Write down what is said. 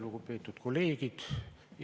Lugupeetud kolleegid!